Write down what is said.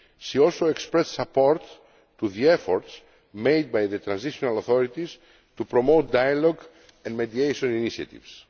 she also expressed support for the efforts made by the transitional authorities to promote dialogue and mediation initiatives.